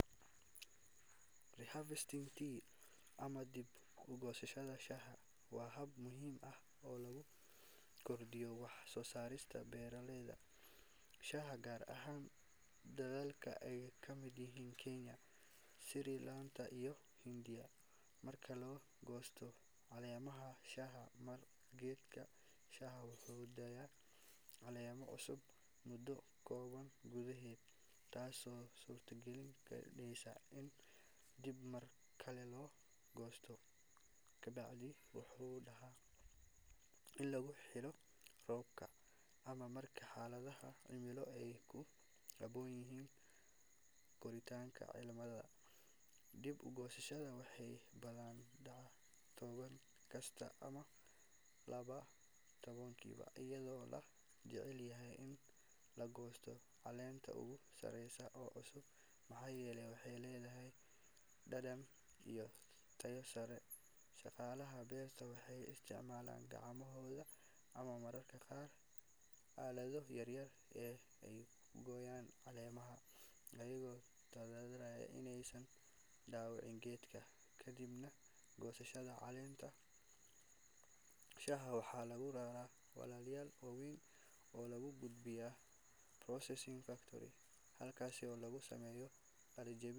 Re-harvesting tea ama dib-u-goosashada shaaha waa hab muhiim ah oo lagu kordhiyo wax-soosaarka beeraleyda shaaha, gaar ahaan dalalka ay ka mid yihiin Kenya, Sri Lanka, iyo Hindiya. Marka la goosto caleemaha shaaha mar, geedka shaaha wuxuu sii daayaa caleemo cusub muddo kooban gudaheed, taasoo suurtagal ka dhigaysa in dib mar kale loo goosto. Habkani wuxuu dhacaa inta lagu jiro xilli roobaadka ama marka xaaladda cimilo ay ku habboon tahay koritaanka caleemaha. Dib-u-goosashada waxay badanaa dhacdaa todobaad kasta ama laba todobaadkii iyadoo la jecel yahay in la goosto caleenta ugu sareysa ee cusub maxaa yeelay waxay leedahay dhadhan iyo tayo sare. Shaqaalaha beerta waxay isticmaalaan gacmahooda ama mararka qaar aalado yar yar si ay u gooyaan caleemaha, iyagoo taxaddaraya inaysan dhaawicin geedka. Kadib goosashada, caleemaha shaaha waxaa lagu raraa weelal waaweyn oo loo gudbiyo processing factory halkaas oo lagu sameeyo qallajin.